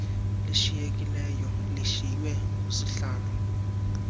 lishiyekileyo lishiywe ngusihlalo